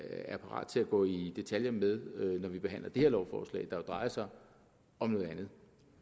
er parat til at gå i detaljer med når vi behandler det her lovforslag der jo drejer sig om noget andet